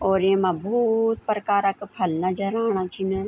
और येमा बहौत प्रकार क फल नजर आणा छिंन।